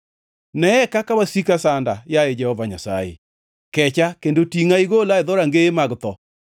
Neye kaka wasika sanda, yaye Jehova Nyasaye! Kecha kendo tingʼa igola e dhorangeye mag tho,